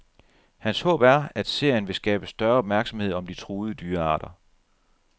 Hans håb er, at serien vil skabe større opmærksomhed om de truede dyrearter.